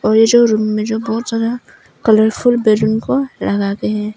ये जो रूम में जो बहुत सारा कलरफुल बैलून को लगा के है।